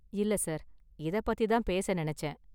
இல்ல, சார், இதை பத்தி தான் பேச நினைச்சேன்.